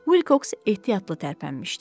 Vilks ehtiyatlı tərpənmişdi.